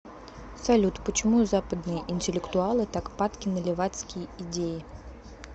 салют почему западные интеллектуалы так падки на левацкие идеи